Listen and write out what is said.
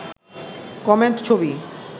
comment ছবি